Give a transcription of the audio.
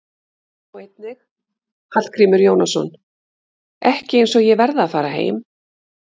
Sjá einnig: Hallgrímur Jónasson: Ekki eins og ég verði að fara heim